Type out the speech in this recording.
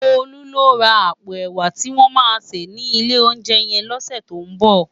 Tolu lò rá àpó èwá tiwòn má sé ni ilé óunjè yèn lòsè tó n bò